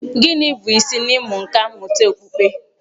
Gịnị bụ isi n'ịmụ nkà mmụta okpukpe?